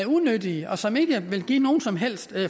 unyttige og som ikke vil give nogen som helst